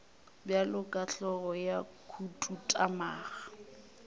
bjalo ka hlogo ya khuduthamaga